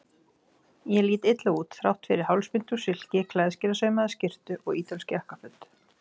Ég lít illa út, þrátt fyrir hálsbindi úr silki, klæðskerasaumaða skyrtu og ítölsk jakkaföt.